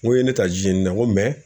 N ko i ye ne ta Dijeni dɛ n ko mɛ